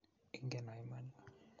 Ingeno iman?